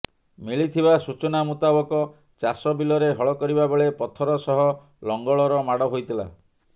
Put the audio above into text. ମିଳିଥିବା ସୂଚନା ମୁତାବକ ଚାଷ ବିଲରେ ହଳ କରିବା ବେଳେ ପଥର ସହ ଲଙ୍ଗଳର ମାଡ଼ ହୋଇଥିଲା